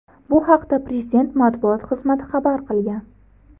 Bu haqda Prezident matbuot xizmati xabar qilgan .